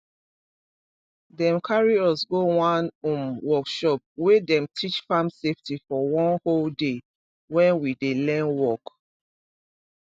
dem carry us go one um workshop wey dem teach farm safety for one whole day when we dey learn work